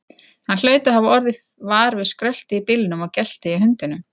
Hann hlaut að hafa orðið var við skröltið í bílnum og geltið í hundinum.